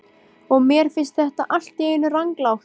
Og mér finnst þetta allt í einu ranglátt.